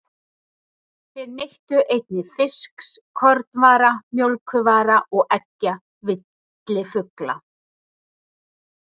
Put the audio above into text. Þeir neyttu einnig fisks, kornvara, mjólkurvara og eggja villifugla.